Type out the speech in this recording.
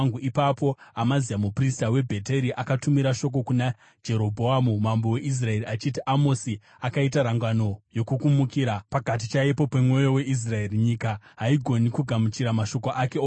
Ipapo Amazia muprista weBheteri akatumira shoko kuna Jerobhoamu mambo weIsraeri achiti, “Amosi akaita rangano yokukumukirai pakati chaipo pemwoyo weIsraeri. Nyika haigoni kugamuchira mashoko ake ose.